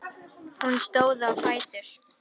Hún stóð á fætur.